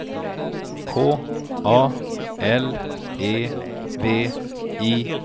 K A L E V I